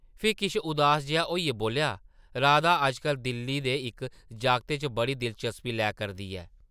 फ्ही किश उदास जेहा होइयै बोल्लआ, ‘‘राधा अज्जकल दिल्ली दे इक जागतै च बड़ी दिलचस्पी लै करदी ऐ ।’’